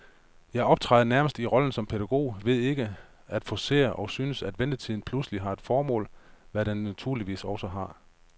Jeg optræder nærmest i rollen som pædagog ved ikke at forcere, og synes, at ventetiden pludselig har et formål, hvad den naturligvis også har.